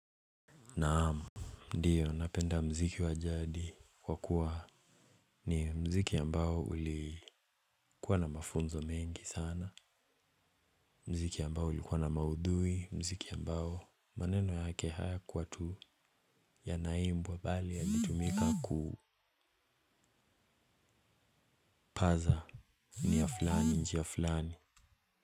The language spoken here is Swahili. Naam, ndio napenda muziki wa jadi kwa kuwa ni muziki ambao ulikuwa na mafunzo mengi sana. Muziki ambao ulikuwa na maudhui, muziki ambao maneno yake hayakuwa tu yanaimbwa, bali yanitumika kupaza nia fulani njia fulani.